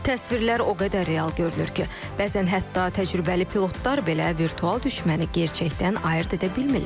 Təsvirlər o qədər real görünür ki, bəzən hətta təcrübəli pilotlar belə virtual düşməni gerçəkdən ayırd edə bilmirlər.